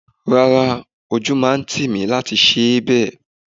Rárá! Ojú máa ń tì mí láti ṣe bẹ́ẹ̀